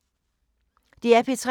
DR P3